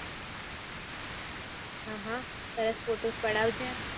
હા હા સરસ ફોટો પડાજે